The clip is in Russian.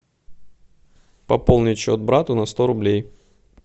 пополнить счет брату на сто рублей